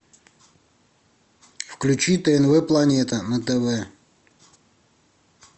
включи тнв планета на тв